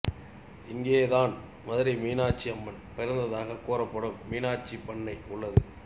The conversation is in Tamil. இங்கே தான் மதுரை மீனாட்சி அம்மன் பிறந்ததாகக் கூறப்படும் மீனாட்சி பண்ணை உள்ளது